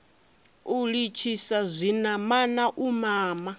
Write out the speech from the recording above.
u litshisa zwinamana u mama